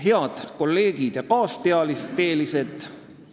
Head kolleegid ja kaasteelised!